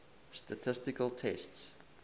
statistical tests